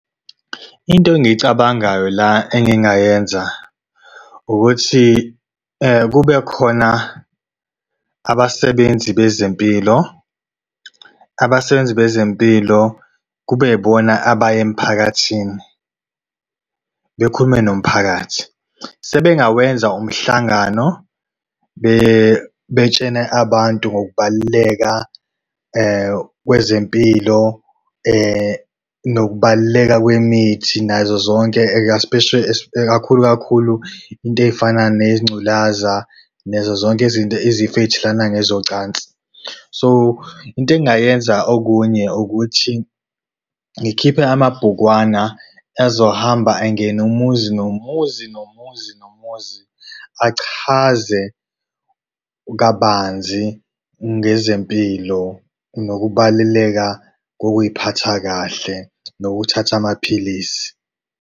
Into engiyicabangayo la engingayenza ukuthi kube khona abasebenzi bezempilo, abasebenzi bezempilo kube ibona abaya emphakathini bekhulume nomphakathi sebengawenza umhlangano betshene abantu ngokubaluleka kwezempilo nokubaluleka kwemithi nazo zonke ikakhulu kakhulu inteyifana nengculaza nazozonke izinto ngezocansi. So intengayenza okunye ukuthi ngikhiphe amabhukwana azohamba engenumuzi, nomuzi, nomuzi, nomuzi achaze kabanzi ngezempilo nokubaluleka kokuyiphatha kahle nokuthatha amaphilisi.